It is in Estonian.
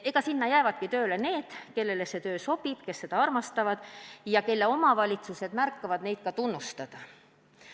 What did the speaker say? Sinna jäävadki tööle need, kellele see töö sobib, kes seda armastavad ja keda omavalitsused märkavad ka tunnustada.